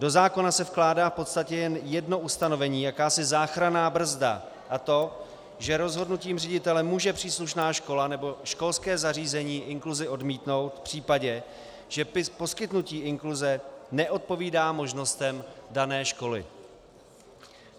Do zákona se vkládá v podstatě jen jedno ustanovení, jakási záchranná brzda, a to že rozhodnutím ředitele může příslušná škola nebo školské zařízení inkluzi odmítnout v případě, že poskytnutí inkluze nedopovídá možnostem dané školy.